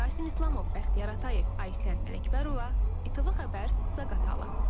Rasim İslamov, Bəxtiyar Atayev, Aysən Ələkbərova, ATV Xəbər, Zaqatala.